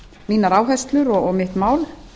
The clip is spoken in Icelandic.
mínar áherslur og mitt mál